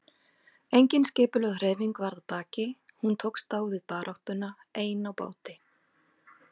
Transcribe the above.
Engin skipulögð hreyfing var að baki, hún tókst á við baráttuna ein á báti.